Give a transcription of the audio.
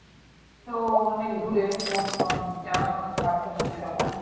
তো অনেক দুরে তোমার তো আর জানশুনা থাকবে না সেরকম।